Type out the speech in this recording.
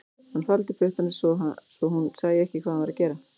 Hann faldi puttana svo hún sæi ekki hvað hann var að gera